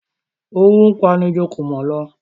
Owú pa'ni ju kùmọ̀ lọ